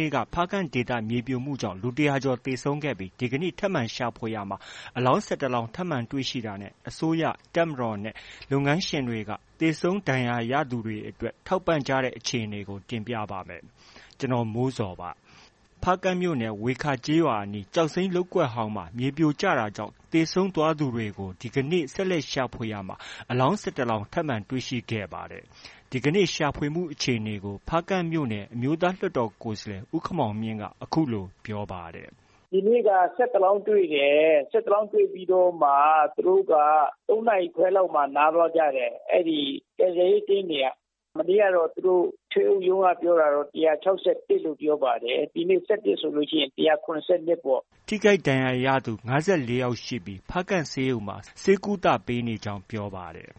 နေ့က ဖားကန့်ဒေသ မြေပြိုကျမှုကြောင့် လူ ၁၀၀ ကျော်သေဆုံးခဲ့ပြီး ဒီကနေ့ ထပ်မံရှာဖွေရာမှာ အလောင်း ၁၁ လောင်း ထပ်မံတွေ့ရှိတာနဲ့ အစိုးရ၊ တပ်မတော်နဲ့ လုပ်ငန်းရှင်တွေက သေဆုံး ဒဏ်ရာရသူတွေအတွက် ထောက်ပံ့ကြတဲ့အခြေအနေကို တင်ပြပါမယ်။ ဗွီအိုအေမြန်မာပိုင်း သတင်းထောက် ကိုမိုးဇော်က သတင်းပေးပို့ထားပါတယ်။ ဖားကန့်မြို့နယ် ဝေခါကျေးရွာအနီး ကျောက်စိမ်းလုပ်ကွက်ဟောင်းမှာ မြေပြိုကျမှုကြောင့် သေဆုံးသွားသူတွေကို ဒီကနေ့ ဆက်လက်ရှာဖွေရာမှာ အလောင်း ၁၁ လောင်း ထပ်မံတွေ့ရှိခဲ့ပါတယ်။ ဒီကနေ့ ရှာဖွေမှုအခြေအနေကို ဖားကန့်မြို့နယ် အမျိုးသားလွှတ်တော် ကိုယ်စားလှယ် ဦးခင်မောင်မြင့်က အခုလို ပြောပါတယ်။ “ဒီနေ့က ၁၁ လောင်းတွေ့တယ်။ ၁၁ လောင်းတွေ့ ပြီးတော့မှ သူတို့က ၃ နာရီခွဲလောက်မှာ နားသွားကြတယ်။ ကယ်ဆယ်ရေး team တွေက။ မနေ့ကတော့ ထွေအုပ်ရုံးက ပြောတာကတော့ ၁၆၁ လို့ ပြောပါတယ်။ ဒီနေ့ ၁၁ ဆိုရင် ၁၇၂ ပေါ့။” ထိခိုက်ဒဏ်ရာရသူ ၅၄ ယောက်ရှိပြီး ဖားကန့်ဆေးရုံမှာ ဆေးကုသပေးနေကြောင်းပြောပါတယ်။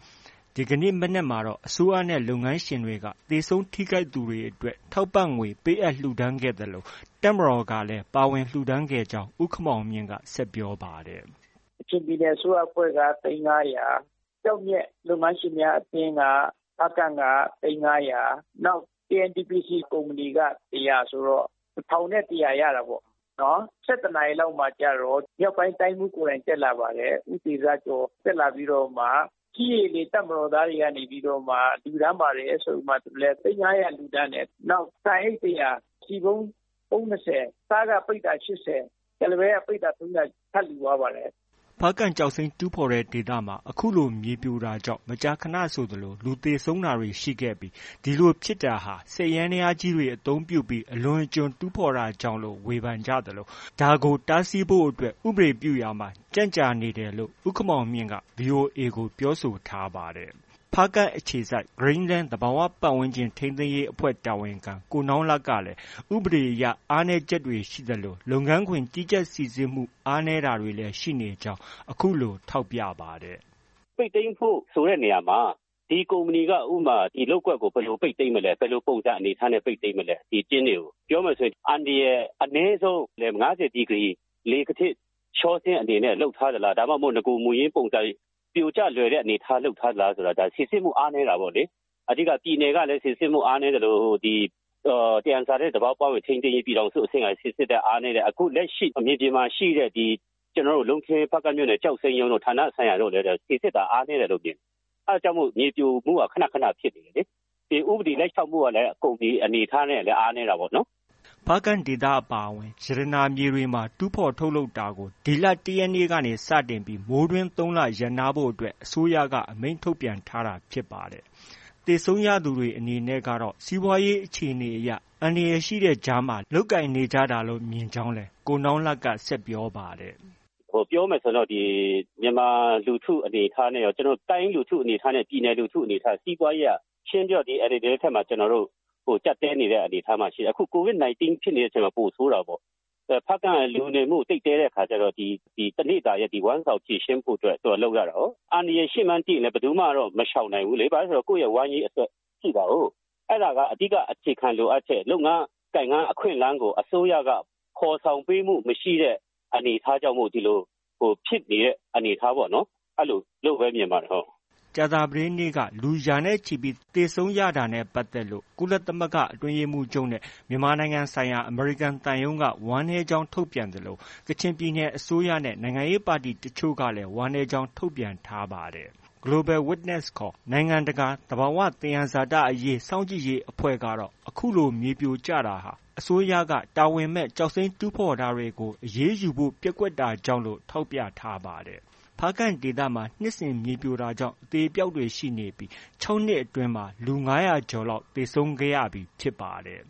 ဒီကနေ့ မနက်မှာတော့ အစိုးရနဲ့ လုပ်ငန်းရှင်တွေက သေဆုံး ထိခိုက်သူတွေအတွက် ထောက်ပံ့ငွေ ပေးအပ်လှုဒါန်းခဲ့သလို တပ်မတော်ကလည်း ပါဝင်လှုဒါန်းခဲ့ကြောင်း ဦးခင်မောင်မြင့်က ဆက်ပြောပါတယ်။ “ကချင်ပြည်နယ်အစိုးရအဖွဲ့က သိန်း ၅၀၀။ ကျောက်မျက်လုပ်ငန်းရှင်များအသင်း ဖားကန့်က သိန်း ၅၀၀။ KNDPC ကုမ္ပဏီက ၁၀၀ ဆိုတော့ ၁၁၀၀ ရတာပေါ့။ ၁၁နာရီလောက်မှာကျတော့ မြောက်ပိုင်းတိုင်းမှုးကိုယ်တိုင်တက်လာပါတယ်။ ဦးတေဇကျော်။ တက်လာပြီးတော့မှ ကြည်း၊ ရေ၊လေ တပ်မတော်သားတွေကနေပြီးတော့မှ လှုဒါန်းတယ်ဆိုပြီးမှ သိန်း ၅၀၀ လှုဒါန်းတယ်။ နောက် ဆန်အိတ် ၁၀၀၊ ဆီပုံး ပုံး ၂၀၊ ဆား ပိဿာ ၈၀၊ ကုလားပဲက ပိဿာ ၃၀၀ ထပ်လှုဒါန်းသွားပါတယ်။” ဖားကန့်ကျောက်စိမ်းတူးဖော်တဲ့ ဒေသမှာ အခုလို မြေပြိုတာကြောင့် မကြာခဏဆို လူသေဆုံးတာတွေ ရှိခဲ့ပြီး အဲဒီလိုဖြစ်တာဟာ စက်ယန္နရားကြီးတွေ အသုံးပြုပြီး အလွန်အကျွံ တူးဖော်မှုကြောင့်လို့ ဝေဖန်ကြသလို ဒါကို တားဆီးဖို့အတွက် ဥပဒေပြုရာမှာ ကြန့်ကြာနေတယ်လို့ ဦးခင်မောင်မြင့်က VOA ကို ပြောဆိုထားပါတယ်။ Green Land သဘာ၀ ပတ်ဝန်းကျင်ထိန်းသိမ်းရေးအဖွဲ့ တာဝန်ခံ ကိုနောင်းလတ်ကလည်း ဥပဒေအရ အားနည်းချက်တွေ ရှိသလို လုပ်ငန်းခွင်ကြီးကြပ်စိစစ်မှု အားနည်းတာတွေလည်း ရှိနေကြောင်း အခုလို ထောက်ပြပါတယ်။ “ပိတ်သိမ်းဖို့ ဆိုတဲ့နေရာမှာ ဒီကုမ္ပဏီက ဥပမာ ဒီလုပ်ကွက်ကို ဘယ်လို ပိတ်သိမ်းမလဲ။ ဘယ်လို ပုံစံအနေအထားနဲ့ ပိတ်သိမ်းမလဲ။ ဒီကျင်းတွေကို ပြောမယ်ဆိုရင် အန္တရာယ်ဆုံး ၅၀ ဒီကရီ လှေကားထစ် လျောဆင်းအနေနဲ့ လုပ်ထားသလား။ ဒါမှမဟုတ် နဂို မူရင်းပုံစံ ပြိုကျလွယ်တဲ့အနေအထား လုပ်ထားသလား။ ဒါ စိစစ်မှုအားနည်းတာပေါ့လေ။ အဓိက ပြည်နယ်ကလည်း စိစစ်မှုအားနည်းသလို၊ ဟို သံယံဇာတနဲ့ သဘာဝပတ်ဝန်းကျင်ထိန်းသိမ်းရေး ပြည်ထောင်စုအဆင့်ကလည်း စိစစ်တာအားနည်းတယ်။ လက်ရှိ မြေပြင်မှာ ရှိတဲ့ ဒီ ကျနော်တို့ ဖားကန့်မြို့နယ်၊ လုံးခင်းတို့ ဌာနဆိုင်ရာ ကျောက်စိမ်းရုံးတို့ ဌာနဆိုင်ရာတို့လည်း စိစစ်တာ အားနည်းတယ်လို့ မြင်တယ်။ အဲဒါကြောင့် မြေပြိုမှုက ခဏခဏ ဖြစ်တယ်လေ။ ဥပဒေ လိုက်နာမှုကလည်း ကုမ္ပဏီအနေအထားနဲ့ အားနည်းတာပေါ့နော်။” ဖားကန့်ဒေသအပါအဝင် ရတနာမြေတွေမှာ တူးဖော်ထုတ်လုပ်တာတွေကို ဒီလ ၁ ရက်နေ့က စတင် ပြီး မိုးတွင်း ၃ လ ရပ်နားဖို့ အစိုးရက အမိန့်ထုတ်ပြန်ထားတာဖြစ်ပါတယ်။ သေဆုံးရသူတွေအနေနဲ့ကတော့ စီးပွားရေးအခြေအနေအရ အန္တရာယ်ရှိတဲ့ကြားမှာ လုပ်ကိုင်နေကြတာလို့ မြင်ကြောင်းလည်း ကိုနောင်းလတ်က ဆက်ပြောပါတယ်။ “ပြောမယ်ဆိုရင် မြန်မာလူထုအနေအထားနဲ့ရော တိုင်းလူထု၊ ပြည်နယ်လူထုအနေအထားအရ စီးပွားရေးက ရှင်းရှင်းပြောရရင် ဒီ NLD လက်ထက်မှာ ကျနော်တို့ ကျပ်တည်းနေတဲ့အနေအထားမှာ ရှိတယ်။ ခု COVID 19 ဖြစ်တဲ့အချိန်မှာ ပိုဆိုးတာပေါ့။ ဖားကန့်က လူနေမှု သိပ်သည်းတဲ့အခါကျတော့ ဒီတစ်နေ့တာရဲ့ ဝမ်းစာကို ဖြေရှင်းဖို့အတွက် လုပ်ရတာကို။ အန္တရာယ်ရှိမှန်းသိလည်း ဘယ်သူမှတော့ မရှောင်နိုင်ဘူးလေ။ ကိုယ့်ရဲ့ ဝမ်းရေးအတွက် ရှိတာကိုး။ အဲဒါက အဓိက အခြေခံလိုအပ်ချက် လုပ်ငန်းကိုင်ငန်းအခွင့်အလမ်းကို အစိုးရက ဖော်ဆောင်ပေးမှု မရှိတဲ့ အနေအထားကြောင့် ဒီလို ဖြစ်နေတဲ့ အနေအထားပေါ့နော်။ အဲလိုလို့ပဲ မြင်ပါတယ်။” ကြာသပတေးနေ့က လူရာနဲ့ချီပြီး သေဆုံးရတာနဲ့ပတ်သက်လို့ ကုလသမဂ္ဂ အတွင်းရေးမှူးချုပ်နဲ့ မြန်မာနိုင်ငံဆိုင်ရာ အမေရိကန်သံရုံးက ဝမ်းနည်းကြောင်းထုတ်ပြန်သလို ကချင်ပြည်နယ်အစိုးရနဲ့ နိုင်ငံရေးပါတီတချို့ကလည်း ဝမ်းနည်းကြောင်း ထုတ်ပြန်ထားပါတယ်။ Global Witness ခေါ် နိုင်ငံတကာ သဘာဝသံယံဇာတအရေး စောင့်ကြည့်ရေးအဖွဲ့ကတော့ အခုလို မြေပြိုကျတာဟာ အစိုးရက တာဝန်မဲ့ကျောက်စိမ်းတူးဖော်တာတွေကို အရေးယူဖို့ ပျက်ကွက်တာကြောင့် လို့ ထောက်ပြထားပါတယ်။ ဖားကန့်ဒေသမှာ နှစ်စဉ် မြေပြိုတာကြောင့် အသေအပျောက်တွေ ရှိနေပြီး ၆နှစ်အတွင်းမှာ လူ ၅၀၀ ကျော်လောက် သေဆုံးခဲ့ရပြီ ဖြစ်ပါတယ်